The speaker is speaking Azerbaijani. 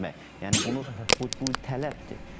Yəni bunu bu tələbdir.